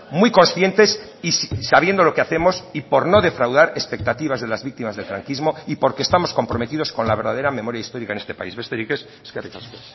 muy conscientes y sabiendo lo que hacemos y por no defraudar expectativas de las víctimas del franquismo y porque estamos comprometidos con la verdadera memoria histórica en este país besterik ez eskerrik asko